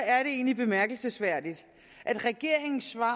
er det egentlig bemærkelsesværdigt at regeringens svar